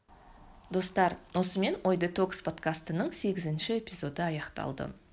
достар осымен ой детокс подкастының сегізінші эпизоды аяқталды